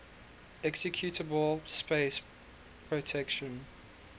executable space protection